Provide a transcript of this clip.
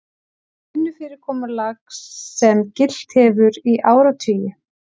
Vinnufyrirkomulag sem gilt hefur í áratugi